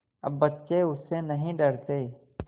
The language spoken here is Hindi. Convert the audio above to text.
अब बच्चे उससे नहीं डरते